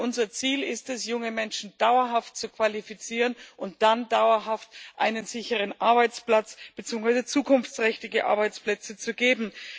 Denn unser Ziel ist es, junge Menschen dauerhaft zu qualifizieren und ihnen dann dauerhaft einen sicheren Arbeitsplatz beziehungsweise zukunftsträchtige Arbeitsplätze zu geben.